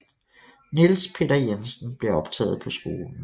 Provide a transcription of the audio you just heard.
Niels Peter Jensen blev optaget på skolen